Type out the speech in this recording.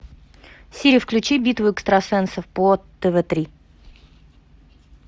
сири включи битву экстрасенсов по тв три